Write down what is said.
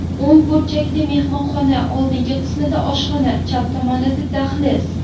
O‘ng burchakda mehmonxona, oldingi qismida oshxona, chap tomonda dahliz.